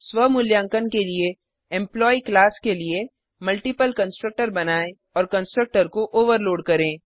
स्व मूल्यांकन के लिए एम्प्लॉयी क्लास के लिए मल्टिपल कंस्ट्रक्टर बनाएँ और कंस्ट्रक्टर को ओवरलोड करें